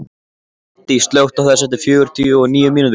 Maddý, slökktu á þessu eftir fjörutíu og níu mínútur.